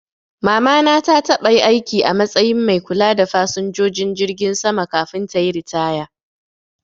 Mama na ta taba aiki a matsayin mai kula da fasinjojin jirgi sama kafin tayi ritaya